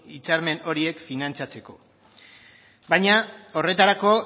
hitzarmen horiek finantzatzeko baina horretarako